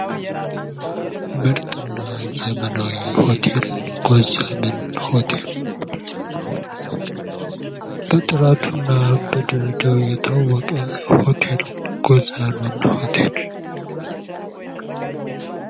ምርጥና ዘመናዊ ሆቴል ጎዛመን ሆቴል። በጥራቱና በደረጃው የታወቀ ሆቴል ጎዛመን ሆቴል!